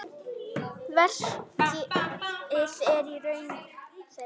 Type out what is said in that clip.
Verkið er í raun þeirra.